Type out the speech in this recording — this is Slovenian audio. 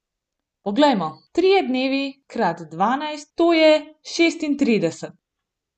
Poglejmo, trije dnevi krat dvanajst, to je šestintrideset.